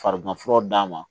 Fariganfura d'a ma